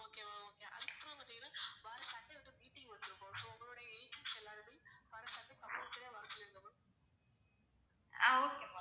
ah okay ma'am